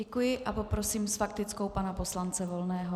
Děkuji a poprosím s faktickou pana poslance Volného.